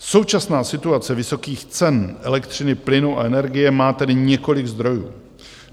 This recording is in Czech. Současná situace vysokých cen elektřiny, plynu a energie má tedy několik zdrojů.